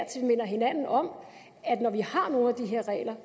til minder hinanden om at når vi har nogle af de her regler